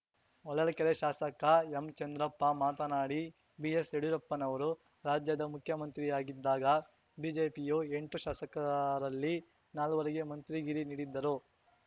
ಹೊಳಲ್ಕೆರೆ ಶಾಸಕ ಎಂಚಂದ್ರಪ್ಪ ಮಾತನಾಡಿ ಬಿಎಸ್‌ಯಡಿಯೂರಪ್ಪನವರು ರಾಜ್ಯದ ಮುಖ್ಯಮಂತ್ರಿಯಾಗಿದ್ದಾಗ ಬಿಜೆಪಿಯು ಎಂಟು ಶಾಸಕರಲ್ಲಿ ನಾಲ್ವರಿಗೆ ಮಂತ್ರಿಗಿರಿ ನೀಡಿದ್ದರು